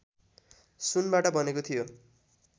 सुनबाट बनेको थियो